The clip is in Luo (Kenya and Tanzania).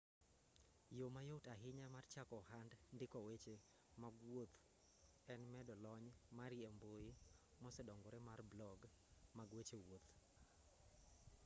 yo mayot ahinya mar chako ohand ndiko weche mag wuoth en medo lony mari e mbui mosedongore mar blog mag weche wuoth